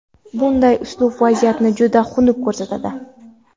Bunday uslub vaziyatni juda xunuk ko‘rsatadi.